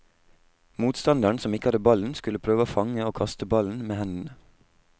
Motstanderen som ikke hadde ballen, skulle prøve å fange og kaste ballen med hendene.